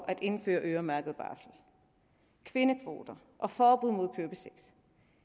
at indføre øremærket barsel kvindekvoter og forbud mod købesex